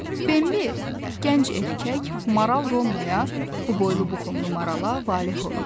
Bembi, gənc erkək maral Rona, bu boylu-buxunlu marala valeh olmuşdu.